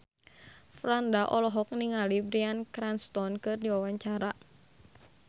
Franda olohok ningali Bryan Cranston keur diwawancara